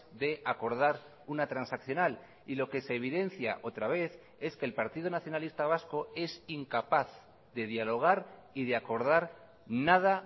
de acordar una transaccional y lo que se evidencia otra vez es que el partido nacionalista vasco es incapaz de dialogar y de acordar nada